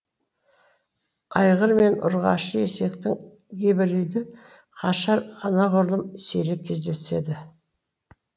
айғыр мен ұрғашы есектің гибриді қашыр анағұрлым сирек кездеседі